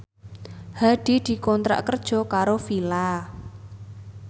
Hadi dikontrak kerja karo Fila